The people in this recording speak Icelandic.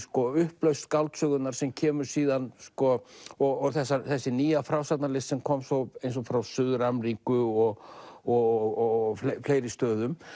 upplausn skáldsögunnar sem kemur og þessi nýja frásagnarlist sem kom eins og frá Suður Ameríku og og fleiri stöðum